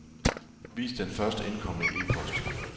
Vis den først indkomne e-post.